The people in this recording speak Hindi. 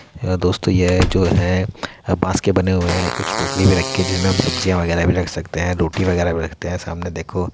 दोस्तों ये जो है बांस के बने हुए हैं कुछ टोकरी भी रखी जिनमें हम सब्जी वगेरा वगैरह भी रख सकते है रोटी वगेरा भी रखते हैं सामने देखो --